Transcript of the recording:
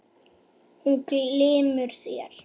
Hún glymur þér.